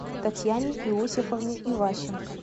татьяне иосифовне иващенко